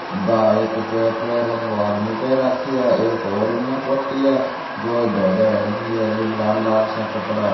बा एक पीले पीले रंग को आदमी पैर राखी है एक और इन्न कोटि है जो धोला धोला रंग की है र बीम लाल लाल सा कपड़ा है।